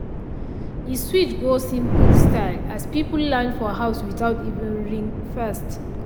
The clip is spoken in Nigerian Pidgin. i grab one quick-dry product sharp sharp as my oga call early morning meeting.